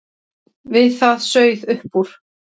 Við það sauð upp úr.